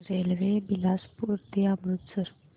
railway Bilaspur ते अमृतसर